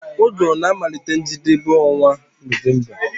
Uguru na-amalite njedebe onwa November